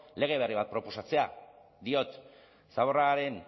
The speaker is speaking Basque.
lege berri bat proposatzea diot zaborraren